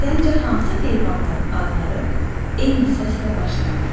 Səncə hansı heyvanların adları eyni səslə başlanır?